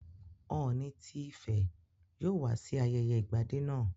Ọ̀ọ̀ni tí Ifẹ̀ yóò wá sí ayẹyẹ Ìgbadé náà